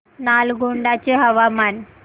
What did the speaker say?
नालगोंडा चे हवामान